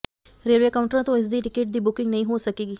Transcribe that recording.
railway ਕਾਊਂਟਰਾਂ ਤੋਂ ਇਸ ਦੀ ਟਿਕਟ ਦੀ ਬੁਕਿੰਗ ਨਹੀਂ ਹੋ ਸਕੇਗੀ